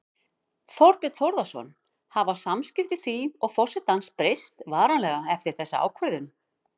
Þorbjörn Þórðarson: Hafa samskipti þín og forsetans breyst varanlega eftir þessa ákvörðun?